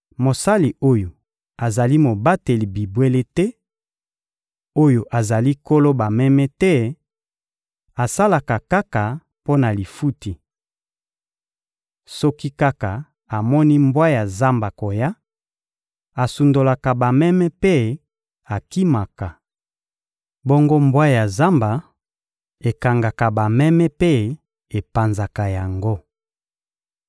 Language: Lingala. Mosali oyo azali mobateli bibwele te, oyo azali nkolo bameme te, asalaka kaka mpo na lifuti. Soki kaka amoni mbwa ya zamba koya, asundolaka bameme mpe akimaka. Bongo mbwa ya zamba ekangaka bameme mpe epanzaka yango.